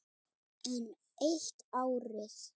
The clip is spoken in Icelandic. Enn eitt árið.